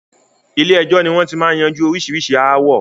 Ilé ẹjọ́ ni wọn ti máa ń yanjú oríṣiríṣi ááwọ̀